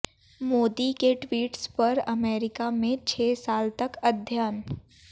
मोदी के ट्वीट्स पर अमेरिका में छह साल तक अध्ययन